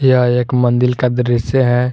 यहा एक मंदिल का दृश्य है।